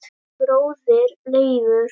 Þinn bróðir Leifur.